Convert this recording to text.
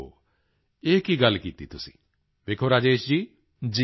ਓਹੋ ਇਹ ਕੀ ਗੱਲ ਕੀਤੀ ਤੁਸੀਂ ਵੇਖੋ ਰਾਜੇਸ਼ ਜੀ